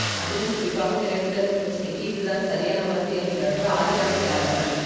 அதிலும் குறிப்பாக விறைப்புதன்மை பிரச்சனைக்கு இதுதான் சரியான மருந்து என்கிறார்கள் ஆரியாசியாளர்கள்